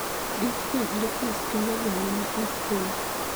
Discoid lupus kelo guonyo ma ok rum